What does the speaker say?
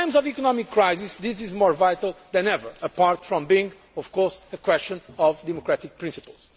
In times of economic crisis this is more vital than ever apart from being, of course, a question of democratic principle.